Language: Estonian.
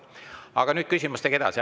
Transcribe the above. Aga nüüd küsimustega edasi.